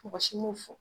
Mɔgɔ si m'o fɔ